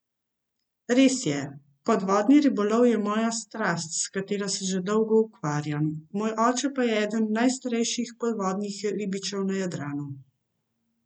Res je, podvodni ribolov je moja strast, s katero se že zelo dolgo ukvarjam, moj oče pa je eden od najstarejših podvodnih ribičev na Jadranu.